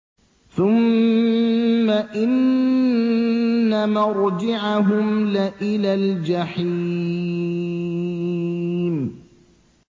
ثُمَّ إِنَّ مَرْجِعَهُمْ لَإِلَى الْجَحِيمِ